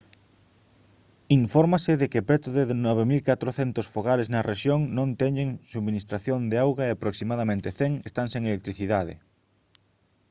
infórmase de que preto de 9400 fogares na rexión non teñen subministración de auga e aproximadamente 100 están sen electricidade